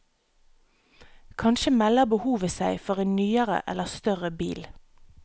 Kanskje melder behovet seg for en nyere eller større bil.